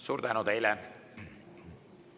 Suur tänu teile!